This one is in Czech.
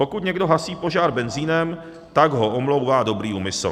Pokud někdo hasí požár benzinem, tak ho omlouvá dobrý úmysl.